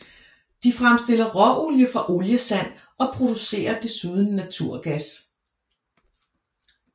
De fremstiller råolie fra oliesand og producerer desuden naturgas